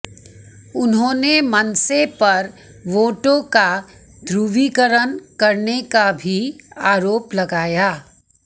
उन्होंने मनसे पर वोटों का ध्रुवी करण करने का भी आरोप लगाया